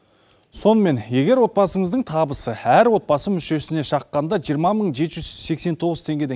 сонымен егер отбасыңыздың табысы әр отбасы мүшесіне шаққанда жиырма мың жеті жүз сексен тоғыз теңгеден